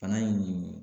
Bana in